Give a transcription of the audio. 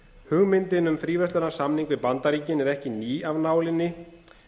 hugmyndin um fríverslunarsamning við bandaríkin er ekki ný af nálinni